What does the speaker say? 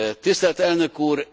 Tisztelt Elnök úr!